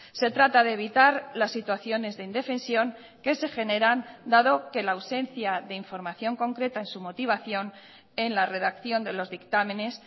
se trata de evitar las situaciones de indefensión que se generan dado que la ausencia de información concreta en su motivación en la redacción de los dictámenes